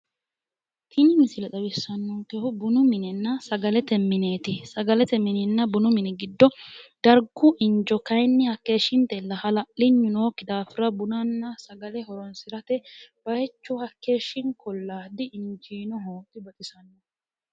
Tini misile xawissannonkehu bunu minenna sagalete mineeti. Sagalete mininna bunu mini giddo dargu injo kayinni hakkeeshshintella. Hala'linyu nookki daafira bunanna sagale horoonsirate bayichu hakkeeshshinkolla. Di injiinoho. Dibaxisanno.